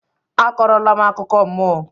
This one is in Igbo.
A kọrọ la m akụkọ mmụọ!